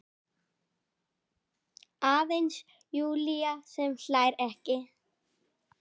Aðeins Júlía sem hlær ekki.